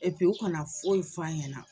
Epi u kana foyi fɔ a ɲɛna